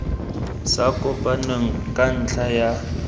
sa kopaneng ka ntlha ya